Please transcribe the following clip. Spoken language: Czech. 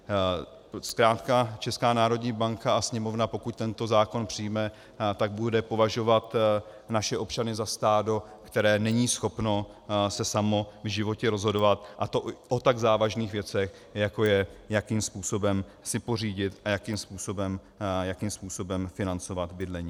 Zkrátka Česká národní banka a Sněmovna, pokud tento zákon přijme, tak bude považovat naše občany za stádo, které není schopno se samo v životě rozhodovat, a to o tak závažných věcech, jako je, jakým způsobem si pořídit a jakým způsobem financovat bydlení.